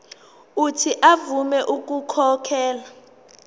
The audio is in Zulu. uuthi avume ukukhokhela